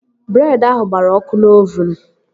Breed ahụ gbara ọkụ n'ovuun